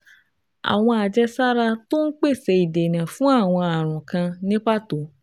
Àwọn àjẹsára tó ń pèsè ìdènà fún àwọn ààrùn kan ní pàtó